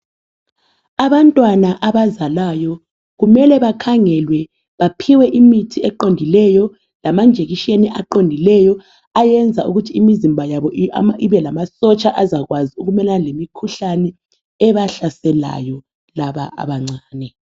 Abantwana abazalwayo kumele bakhangelwe baphiwe imithi eqondileyo lama njekisheni eqondileyo ayenza ukuthi imizimba yabo ibelama sotsha azakwazi ukumelana lemikhuhlane ebahlaselayo laba abancane.